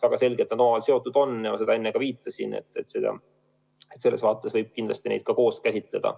Väga selgelt on need seotud ja seda ma enne ka viitasin, et selles vaates võib kindlasti neid koos käsitleda.